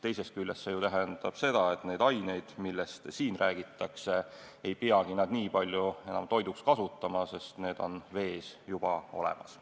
Teisest küljest see ju tähendab seda, et neid aineid, millest siin räägitakse, ei peagi nad nii palju enam toiduks kasutama, sest need on vees juba olemas.